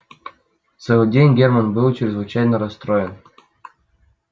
целый день германн был чрезвычайно расстроен